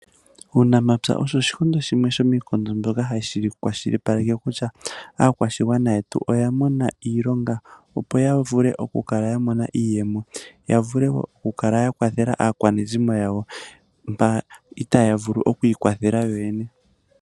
Uunamapya osho oshikondo shimwe shomiikondo mbyoka hashi kwashilipaleke kutya aakwashigwana yetu oya mona iilonga, opo ya vule okukala yamona iiyemo , yavule okukala yakwathela aakwanezimo yawo, mba itaaya vulu okwiikwathela yoyene.